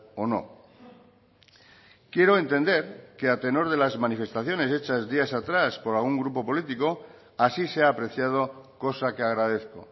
o no quiero entender que a tenor de las manifestaciones hechas días atrás por algún grupo político así se ha apreciado cosa que agradezco